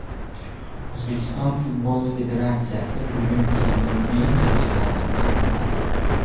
O‘zbekiston Futbol Federatsiyasi bugun yilning eng yaxshilarini aniqlaydi.